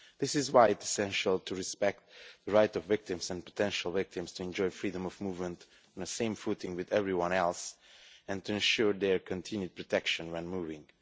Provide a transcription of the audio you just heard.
This is why it is essential to respect the right of victims and potential victims to enjoy freedom of movement on the same footing as everyone else and to ensure their continued protection when moving.